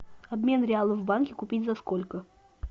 обмен реалов в банке купить за сколько